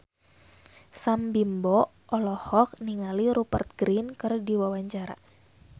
Sam Bimbo olohok ningali Rupert Grin keur diwawancara